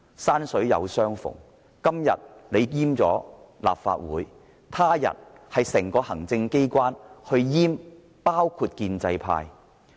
山水有相逢，建制派今天閹割立法會，他日是整個行政機關閹割包括建制派在內的立法會。